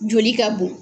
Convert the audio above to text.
Joli ka bon